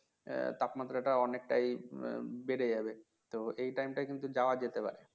আহ তাপমাত্রা অনেকটাই বেড়ে যাবে তো এই টাইমটা কিন্তু যাওয়ার যেতে পারে